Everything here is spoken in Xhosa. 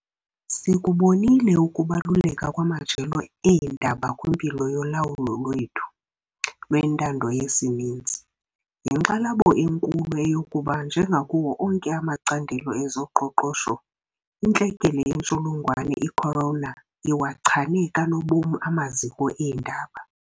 Sikubonile ukubaluleka kwamajelo eendaba kwimpilo yolawulo lwethu lwentando yesininzi, yinkxalabo enkulu eyokuba njengakuwo onke amacandelo ezoqoqosho, intlekele yentsholongwane i-corona iwachane kanobomi amaziko eendaba.